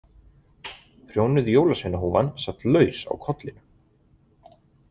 Prjónuð jólasveinahúfan sat laus á kollinum.